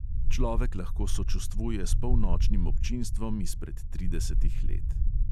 Človek lahko sočustvuje s polnočnim občinstvom izpred tridesetih let.